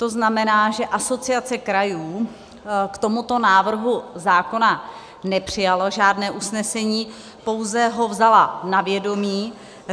To znamená, že Asociace krajů k tomuto návrhu zákona nepřijala žádné usnesení, pouze ho vzala na vědomí.